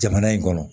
Jamana in kɔnɔ